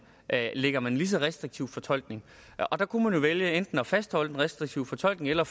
anlægger man lige så restriktiv fortolkning og der kunne vælge enten at fastholde den restriktive fortolkning eller